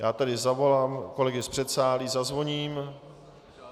Já tedy zavolám kolegy z předsálí, zazvoním.